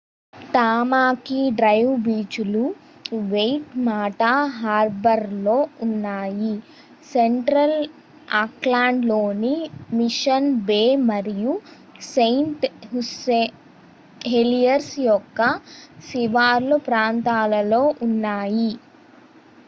Tamaki drive బీచ్లు Waitemata హార్బర్లో ఉన్నాయి సెంట్రల్ ఆక్లాండ్లోని మిషన్ బే మరియు సెయింట్ హెలియర్స్ యొక్క శివారు ప్రాంతాలలో ఉన్నాయి